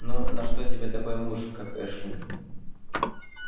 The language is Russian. ну на что тебе такой муж как эшли